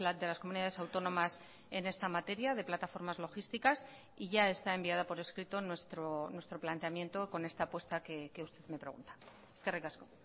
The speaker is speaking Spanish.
de las comunidades autónomas en esta materia de plataformas logísticas y ya está enviada por escrito nuestro planteamiento con esta apuesta que usted me pregunta eskerrik asko